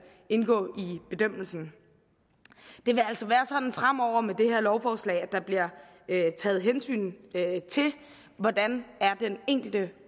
indgå i bedømmelsen det vil altså være sådan fremover med det her lovforslag at der bliver taget hensyn til hvordan den enkelte